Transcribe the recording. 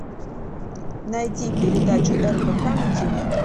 найди передачу рбк на ти ви